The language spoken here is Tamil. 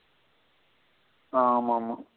ஆமா ஆமா.